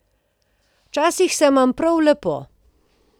Včasih se imam prav lepo.